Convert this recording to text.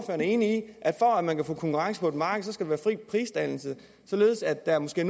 er enig i at for at man kan få konkurrence på et marked skal der være fri prisdannelse således at der måske